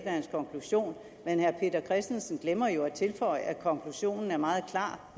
hans konklusion men herre peter christensen glemmer jo at tilføje at konklusionen er meget klar